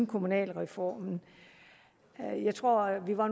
kommunalreformen jeg tror at vi var